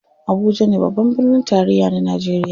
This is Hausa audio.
Abuja ne babban birnin tarayya na najeriya.